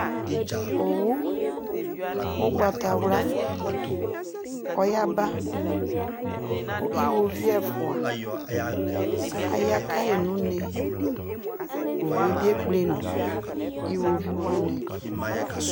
omwu ugbɑtawla yɑba ku ihoviu ɛfua ɑyakayinune oxuebi ɛkplenu ihoviuwani